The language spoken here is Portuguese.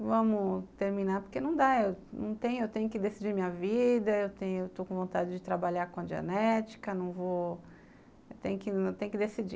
Vamos terminar, porque não dá, eu não tenho, tenho que decidir minha vida, eu tenho eu estou com vontade de trabalhar com a genética, não vou tem que decidir.